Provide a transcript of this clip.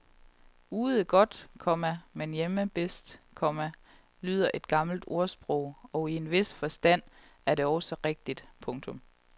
Ude godt, komma men hjemme bedst, komma lyder et gammelt ordsprog og i en vis forstand er det også rigtigt. punktum